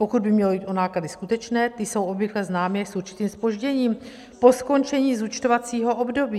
Pokud by mělo jít o náklady skutečné, ty jsou obvykle známy s určitým zpožděním po skončení zúčtovacího období.